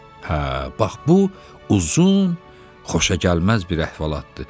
Hə, bax bu uzun, xoşagəlməz bir əhvalatdır.